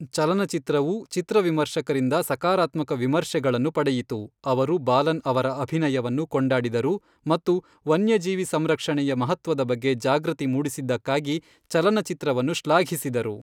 ಚಲನಚಿತ್ರವು, ಚಿತ್ರ ವಿಮರ್ಶಕರಿಂದ ಸಕಾರಾತ್ಮಕ ವಿಮರ್ಶೆಗಳನ್ನು ಪಡೆಯಿತು, ಅವರು ಬಾಲನ್ ಅವರ ಅಭಿನಯವನ್ನು ಕೊಂಡಾಡಿದರು ಮತ್ತು ವನ್ಯಜೀವಿ ಸಂರಕ್ಷಣೆಯ ಮಹತ್ವದ ಬಗ್ಗೆ ಜಾಗೃತಿ ಮೂಡಿಸಿದ್ದಕ್ಕಾಗಿ ಚಲನಚಿತ್ರವನ್ನು ಶ್ಲಾಘಿಸಿದರು.